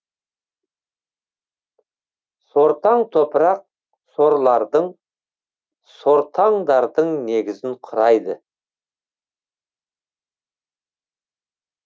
сортаң топырақ сорлардың сортаңдардың негізін құрайды